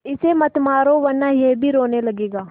इसे मत मारो वरना यह भी रोने लगेगा